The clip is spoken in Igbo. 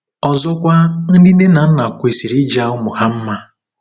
Ọzọkwa, ndị nne na nna kwesịrị ịja ụmụ ha mma.